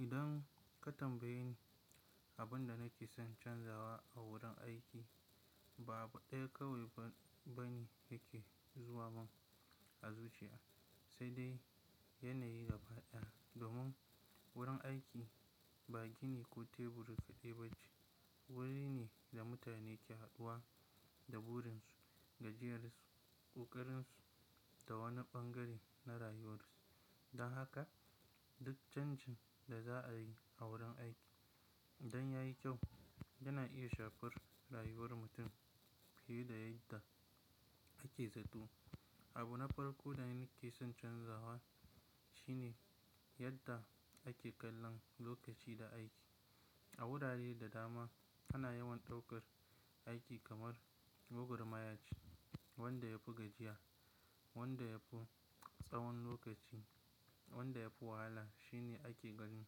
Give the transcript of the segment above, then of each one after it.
Idan ka tambaye ni abin da nake son canzawa a wurin aiki, babu ɗaya kawai bane yake zuwa man a zuciya, sai dai yanayi gaba ɗaya. Domun wurin aiki ba gini ko tebur ka ɗai ba ce wuri ne da mutane ke haɗuwa da burin ya je ƙokarinsu da wani ɓan gare na rayuwarsu don haka duk canjin da za a yi a wurin aiki idan ya yi kyau, yana iya shafar rayuwar mutum fiye da yadda ake zato. Abu na farko da nake son canzawa shine yadda ake kallon lokaci da aiki. A wurare da dama ana yawan ɗaukar aiki kamar gwagwar maya ce wanda yafi gajiya wanda yafi tsawon lokaci wanda yafi wahala shine ake ganin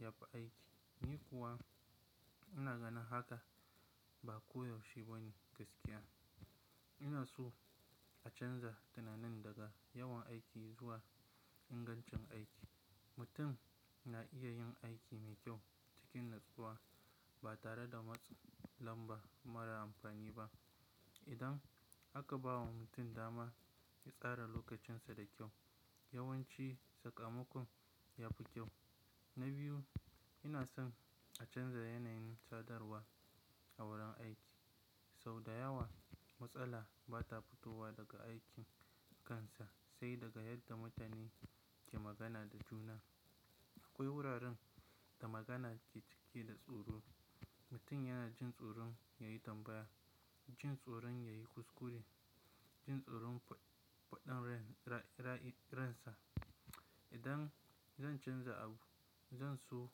yafi aiki. Ni kuwa ina ganin haka ba koyaushe bane gaskiya. Ina so a canza tunanin daga yawan aiki zuwa ingancin aiki. Mutu na iya yin aiki mai kyau cikin natsuwa ba tare da matsa lamba mara amfani ba. Idan aka ba wa mutu dama ya tsara lokacinsa da kyau, yawanci sakamakon ya fi kyau. Na biyu, ina son a canza yanayin sadarwa a wurin aiki. Sau da yawa matsala ba ta fitowa daga aikin kansa sai daga yadda mutane ke magana da juna. Akwai wuraren da magana ke ciki da tsoro. Mutum yana jin tsoron ya yi tambaya, jin tsoron ya yi kuskure, jin tsoron faɗin raii ransa. Idan zan canza abu, zan so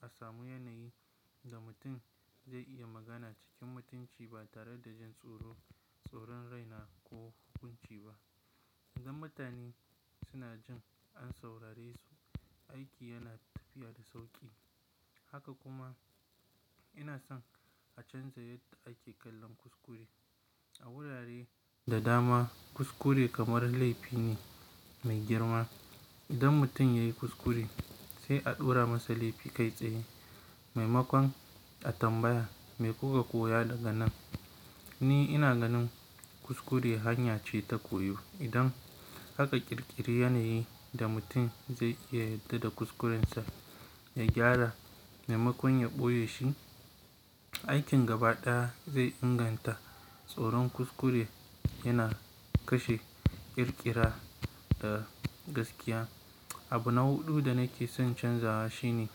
a samu yanayi da mutum zai iya magana cikin mutunci ba tare da jin tsoron, tsoron raina ko hukunci ba. Idan mutane suna jin an saurare su, aiki yana tafiya da sauƙi. Haka kuma ina son a canza yadda ake kallon kuskure. A wurare da dama kuskure kamar laifi ne mai girma. Idan mutum ya yi kuskure, sai a ɗora masa laifi kai tsaye. Maimakon a tambaya me kuka koya daga nan? Ni ina ganin kuskure hanya ce ta koyo. Idan aka ƙirƙiri yanayi da mutum zai iya yadda da kuskurensa ya gyara, maimakon ya ɓoye shi, aikin gaba ɗaya zai ingan ta. Tsoron kuskure yana kashe ƙirƙira da gaskiya. Abu na huɗu da nake son canzawa shine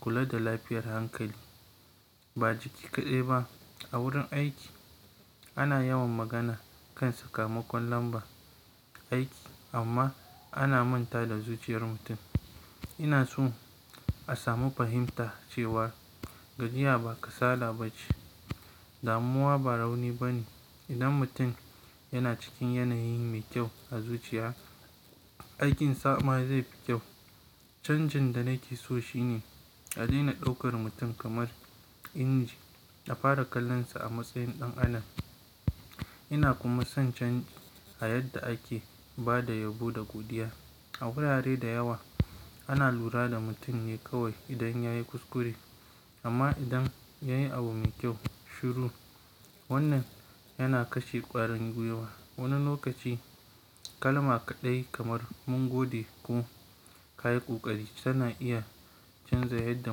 kula da lafiyar hankali. Ba jiki kaɗai ba. A wurin aiki ana yawan magana kan sakamakon lamba aiki amma ana manta da zuciyar mutum. Ina son a samu fahimta cewa gajiya ba kasala ba ce damuwa ba rauni bane idan mutun yana cikin yanayi me kyau a zuciya aikin sa ma zaifi kyau. Canjin da nake so shine a daina ɗaukar mutum kamar inji a fara kallonsa a matsayin ɗan adam. Ina kuma son canji a yadda ake ba da yabo da godiya. A wurare da yawa ana lura da mutum ne kawai idan ya yi kuskure. Amma idan yayi abu me kyau shiru wannan yana kashe kwarin guiwa wani lokaci kalma kaɗai kamar mun gode ko ka yi ƙoƙari tana iya canza yadda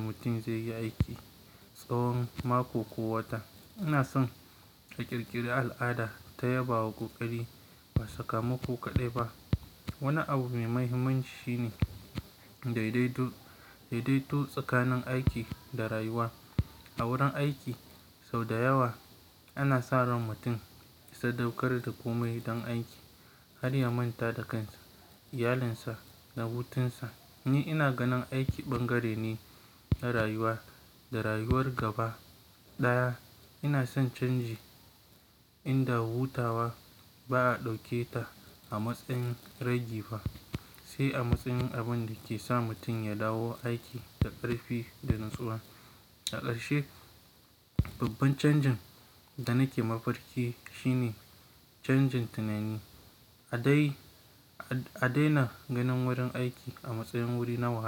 mutum zai yi aiki tsawon mako ko wata. Ina son a ƙirƙiri al'ada ta yabawa ƙoƙari ba sakamako kaɗai ba. Wani abu mai mahimmanci shi ne daidaito daidaito tsakanin aiki da rayuwa. A wurin aiki sau da yawa ana sa ran mutum ya sadaukar da komai don aiki har ya manta da kansa, iyalinsa da hutunsa. Ni ina ganin aiki ɓangare ne na rayuwa da rayuwar gaba ɗaya. Ina son canji inda hutawa ba a ɗauke ta a matsayin ragifa sai a matsayin abun da ke sa mutum ya dawo aiki da ƙarfi da natsuwa. A karshe babban chanji da nake mafarki canjin tunani a dai A daina ganin wurin aiki a matsayin wuri nawa.